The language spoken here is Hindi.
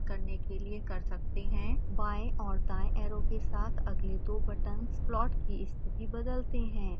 बाएं और दाएं ऐरो के साथ अगले दो बटन्स प्लॉट की स्थिति बदलते हैं